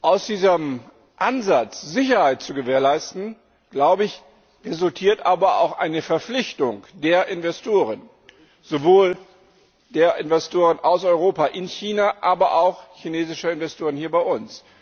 Aus diesem Ansatz, Sicherheit zu gewährleisten, resultiert aber auch eine Verpflichtung der Investoren, sowohl der Investoren aus Europa in China als auch chinesischer Investoren hier bei uns.